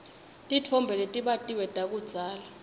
titfombe letibatiwe takudzala